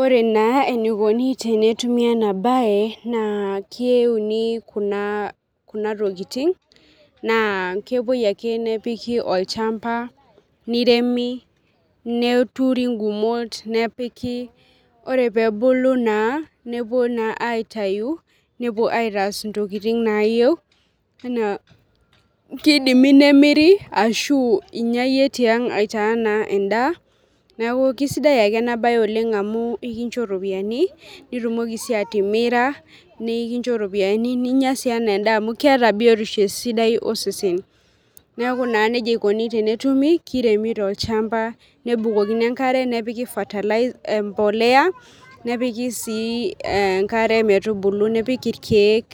ore naa enikoni tenetumi ena baye naa keuni kuna, kuna tokiting naa kepuoi ake nepiki olchamba niremi neturi ingumot nepiki ore peebulu naa nepuo naa aitayu nepuo aitaas intokiting nayieu enaa kidimi nemiri ashu inyia yie tiang aitaa naa endaa niaku kisidai ake ena baye oleng amu ikincho iropiyiani nitumoki sii atimira nikincho iropiyiani ninyia sii enaa endaa amu keeta biotisho esidai osesen neku naa nejia ikoni tenetumi kiremi tolchamba nebukokini enkare nepiki fertilizer empoleya nepiki sii enkare metubulu nepik irkeek